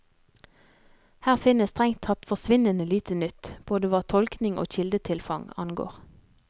Her finnes strengt tatt forsvinnende lite nytt, både hva tolkning og kildetilfang angår.